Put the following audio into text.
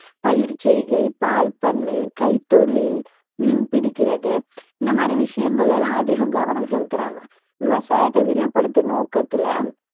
பயிர் செய்கை, பால் பண்ணை, கைத்தொழில், மீன் பிடிக்கிறது இந்த மாதிரி விஷயங்கள்ல எல்லாம் அதிகம் கவனம் செலுத்துறாங்க விவசாயத்தை விரிவுபடுத்தும் நோக்கத்தில